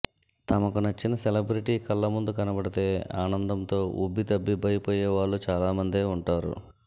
తమకు నచ్చిన సెలబబ్రిటీ కళ్లముందు కనబడితే ఆనందంతో ఉబ్బితబ్బిబైపోయేవాళ్లు చాలామందే ఉంటారు